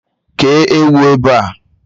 Kéé ewu ebe a!